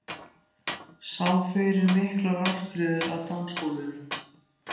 Sá fyrir sér miklar ástríður á dansgólfinu.